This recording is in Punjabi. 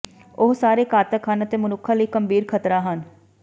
ਉਹ ਸਾਰੇ ਘਾਤਕ ਹਨ ਅਤੇ ਮਨੁੱਖਾਂ ਲਈ ਗੰਭੀਰ ਖ਼ਤਰਾ ਹਨ